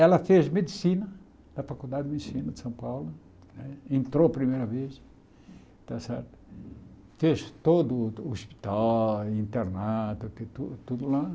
Ela fez medicina da Faculdade de Medicina de São Paulo, né entrou a primeira vez, está certo fez todo o hospital, internato, que tu tudo lá.